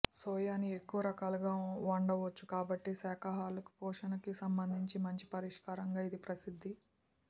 సోయాని ఎక్కువ రకాలుగా వండవచ్చు కాబట్టి శాకాహారులకి పోషణకి సంబంధించి మంచి పరిష్కారంగా ఇది ప్రసిద్ధి